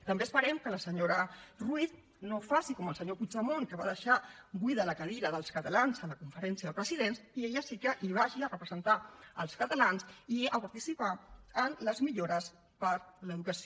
també esperem que la senyora ruiz no faci com el senyor puigdemont que va deixar buida la cadira dels catalans a la conferència de presidents i ella sí que hi vagi a representar els catalans i a participar en les millores per a l’educació